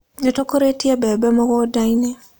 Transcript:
Nĩ tũkũrĩtie mbembe mũgũnda-inĩ.